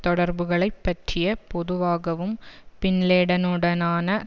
தொடர்புகளைப் பற்றியப் பொதுவாகவும் பின் லேடனுடனான